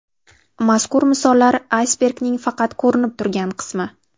Mazkur misollar aysbergning faqat ko‘rinib turgan qismi.